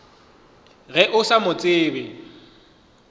ge o sa mo tsebe